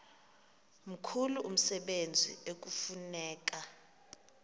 mkhulu umsebenzi ekufuneka